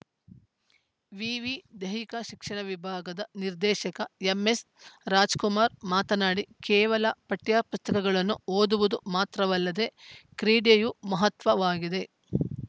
ವಿವಿ ದೈಹಿಕ ಶಿಕ್ಷಣ ವಿಭಾಗದ ನಿರ್ದೇಶಕ ಎಂಎಸ್‌ ರಾಜಕುಮಾರ್‌ ಮಾತನಾಡಿ ಕೇವಲ ಪಠ್ಯಪುಸ್ತಕಗಳನ್ನು ಓದುವುದು ಮಾತ್ರವಲ್ಲದೇ ಕ್ರೀಡೆಯು ಮಹತ್ವವಾಗಿದೆ